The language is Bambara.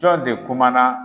Jɔn de kumana